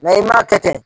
i m'a kɛ ten